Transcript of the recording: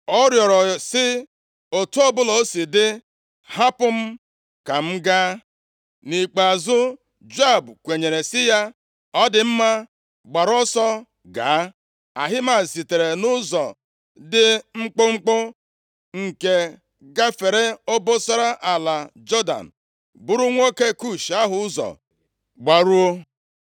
Ọ rịọrọ sị, “Otu ọbụla o si dị, hapụ m ka m gaa.” Nʼikpeazụ Joab kwenyere sị ya, “Ọ dị mma, gbara ọsọ gaa.” Ahimaaz sitere nʼụzọ dị mkpụmkpụ nke gafere obosara ala Jọdan buru nwoke Kush ahụ ụzọ gbaruo.